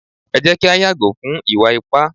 e jé kí a yàgò fún ìwà ipá